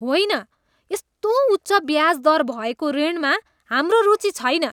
होइन! यस्तो उच्च ब्याज दर भएको ऋणमा हाम्रो रुचि छैन।